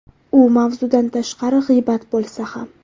U mavzudan tashqari g‘iybat bo‘lsa ham.